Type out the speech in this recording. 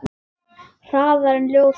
Hraðar en ljósið.